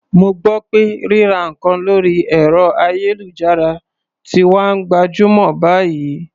Mo gbọ́ pé ríra nǹkan lórí ẹ̀rọ-ayélujára ti wá ń gbajúmọ̀ báyìí.